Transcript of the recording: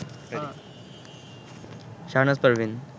Shahnaz Parveen